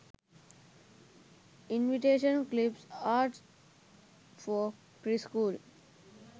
invitation clip arts for pre school